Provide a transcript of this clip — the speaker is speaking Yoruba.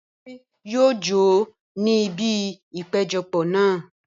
Bímpé yóò jó ní ibi ìpéjọpọ̀ náà.